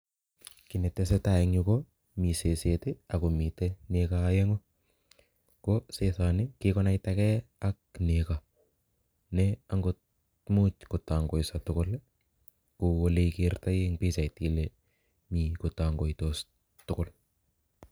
Kii netesetai inyuu ko Mii seset ak komitei nego aeng'u ko sesoni kikonaitagee ak nego nee angot muuch kotangoiso tugul kounyeigertoi eng pichait kotongoitos tugul